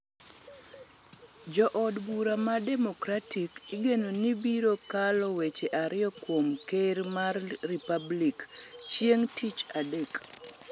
Jood bura mag Democratic igeno ni biro kalo weche ariyo kuom ker mar Republican chieng' tich adek.